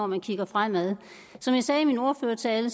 man kigger fremad som jeg sagde i min ordførertale